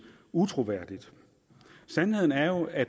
utroværdigt sandheden er jo at